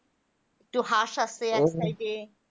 তো হাঁস আছে এক side এ